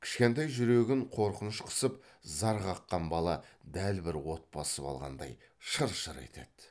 кішкентай жүрегін қорқыныш қысып зар қаққан бала дәл бір от басып алғандай шыр шыр етеді